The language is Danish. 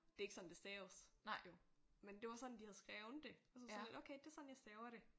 Det er ikke sådan det staves jo. Men det var sådan de havde skrevet det og så sådan lidt okay det er sådan jeg staver det